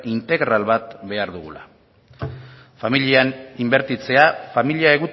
integral bat behar dugula familian inbertitzea familia